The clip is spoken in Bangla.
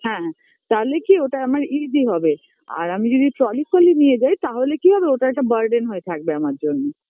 হ্যাঁ